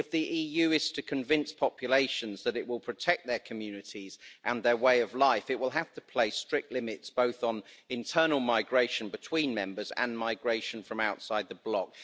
If the EU is to convince populations that it will protect their communities and their way of life, it will have to place strict limits both on internal migration between Member States and migration from outside the bloc.